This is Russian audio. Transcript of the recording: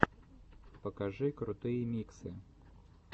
покажи крутые миксы